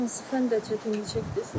Hansı fəndə çətinlik çəkdiz?